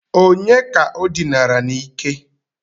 Ònye ka o dinara n'ike?